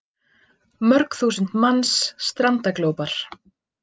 Mörg þúsund manns strandaglópar